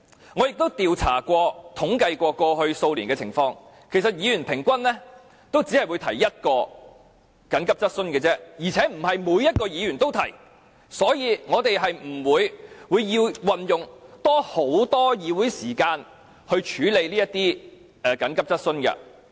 我亦曾作調查，以及統計過去數年的情況，其實議員平均只會提出一項急切質詢而已，而且並非每一位議員也提出，所以我們是不會有需要運用很多議會時間來處理這類急切質詢。